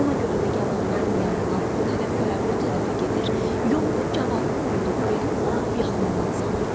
Ona görə də gavalların yanından o tərəfə, bu tərəfə gedir, yolunu gavalı qoyulduğu yerin lap yaxınından salırdı.